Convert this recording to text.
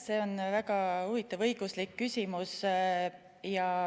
See on väga huvitav õiguslik küsimus.